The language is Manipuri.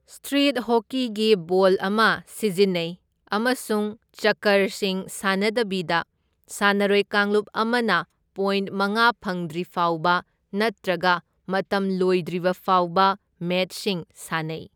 ꯁꯇ꯭ꯔꯤꯠ ꯍꯣꯀꯤꯒꯤ ꯕꯣꯜ ꯑꯃ ꯁꯤꯖꯤꯟꯅꯩ ꯑꯃꯁꯨꯡ ꯆꯛꯀꯔꯁꯤꯡ ꯁꯥꯟꯅꯗꯕꯤꯗ ꯁꯥꯟꯅꯔꯣꯏ ꯀꯥꯡꯂꯨꯞ ꯑꯃꯅ ꯄꯣꯏꯟꯠ ꯃꯉꯥ ꯐꯪꯗ꯭ꯔꯤꯐꯥꯎꯕ ꯅꯠꯇ꯭ꯔꯒ ꯃꯇꯝ ꯂꯣꯏꯗ꯭ꯔꯤꯕ ꯐꯥꯎꯕ ꯃꯦꯆꯁꯤꯡ ꯁꯥꯟꯅꯩ꯫